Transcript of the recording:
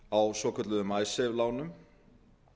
á svokölluðum icesave lánum